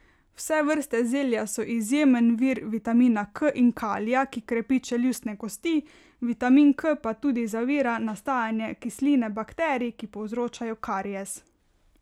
Vse vrste zelja so izjemen vir vitamina K in kalija, ki krepi čeljustne kosti, vitamin K pa tudi zavira nastajanje kisline bakterij, ki povzročajo karies.